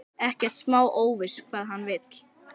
Ekkert smá óviss hvað hann vill.